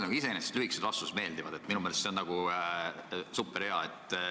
Mulle iseenesest lühikesed vastused meeldivad, minu meelest see on superhea.